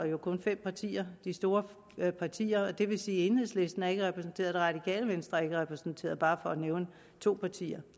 jo kun fem partier de store partier det vil sige at enhedslisten ikke er repræsenteret og det radikale venstre ikke er repræsenteret bare for at nævne to partier